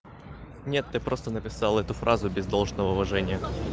нет ты просто написал эту фразу без должного уважения